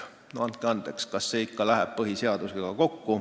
Andke andeks, kas see ikka läheb kokku põhiseadusega?